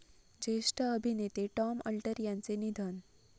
ज्येष्ठ अभिनेते Tom Alter यांचे निधन